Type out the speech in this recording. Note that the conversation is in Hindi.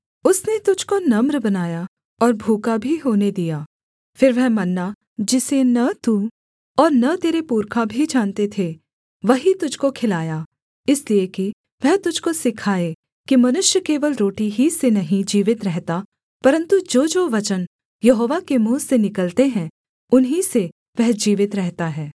उसने तुझको नम्र बनाया और भूखा भी होने दिया फिर वह मन्ना जिसे न तू और न तेरे पुरखा भी जानते थे वही तुझको खिलाया इसलिए कि वह तुझको सिखाए कि मनुष्य केवल रोटी ही से नहीं जीवित रहता परन्तु जोजो वचन यहोवा के मुँह से निकलते हैं उन ही से वह जीवित रहता है